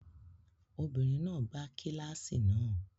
Obìnrin náà gbá kíláàsì náà.